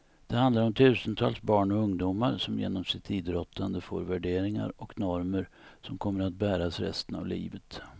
Det handlar om tusentals barn och ungdomar som genom sitt idrottande får värderingar och normer som kommer att bäras resten av livet.